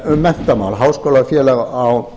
um menntamál háskólafélag á